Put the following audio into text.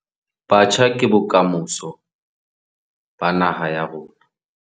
Batjha ke bokamoso ba naha ya rona